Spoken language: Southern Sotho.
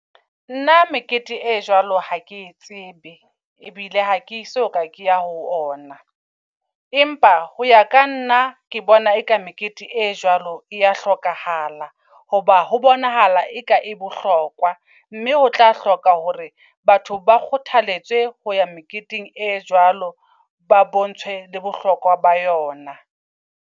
Nna mekete e jwalo ha ke e tsebe ebile ha ke soka ke ya ho ona. Empa ho ya ka nna ke bona eka mekete e jwalo e ya hlokahala. Hoba ho bonahala eka e bohlokwa. Mme ho tla hloka hore batho ba kgothaletswe ho ya meketeng e jwalo, ba bontshe le bohlokwa ba yona.